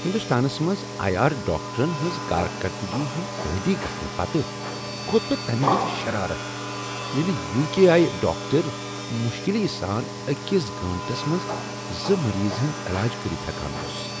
ہندوستانس منٛز ER ڈاکٹرن ہنٛز کارکردگی ہنٛد عادی گژھنہٕ پتہٕ کھۄت مےٚ تمہ وزِ شرارت ییٚلہ UK ER doctor مشکلی سان أکس گٲنٹس منٛز زٕ مریضن ہنٛد علاج کٔرتھ ہیکان ٲسۍ